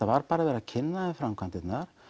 var bara verið að kynna þeim framkvæmdirnar